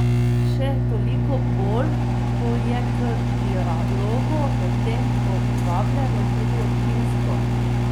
Še toliko bolj, ko je k dialogu o tem povabljeno tudi občinstvo.